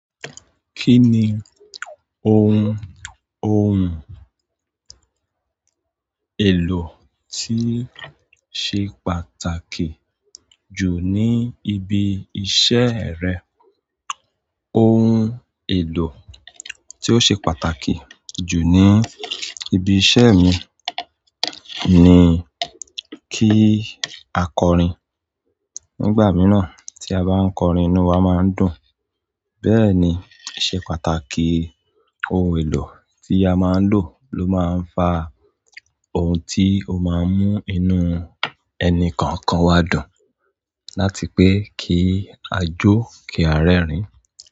Kí ni ohun ohùn èlò tí ṣe pàtàkì jù ní ibi iṣẹ́ rẹ? Ohun èlò tí ó ṣe pàtàkì jù ní ibi iṣẹ́ mi ni kí a kọrin. Nígbà mìíràn tí a bá ń kọrin, inú wa máa ń dùn. Bẹ́ẹ̀ ni, ó ṣe pàtàkì ohun èlò tí a máa ń lò ló máa ń fa ohun tí ó máa ń mú inú ẹni kọ̀ọ̀kan wá dùn. Láti pé kí a jó, kí a rẹ́rìn-ín.